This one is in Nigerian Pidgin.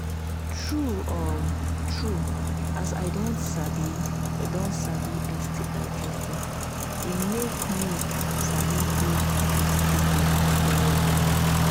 true um true as i don sabi don sabi sti testing e make me sabi do with people well well um